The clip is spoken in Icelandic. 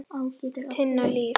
Tinna Líf.